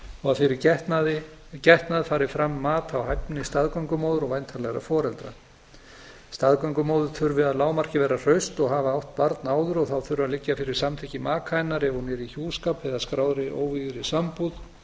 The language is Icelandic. og fyrir getnað fari fram mat á hæfni staðgöngumóður og væntanlegra foreldra staðgöngumóðir þurfi að lágmarki að vera hraust og hafa átt barn áður og þá þurfi að liggja fyrir samþykki maka hennar ef hún er í hjúskap eða skráðri óvígðri sambúð